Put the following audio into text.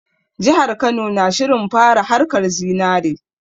Jihar Kano na shirin fara haƙar zinare